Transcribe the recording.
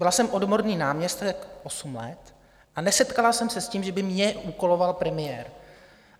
Byla jsem odborný náměstek osm let a nesetkala jsem se s tím, že by mě úkoloval premiér.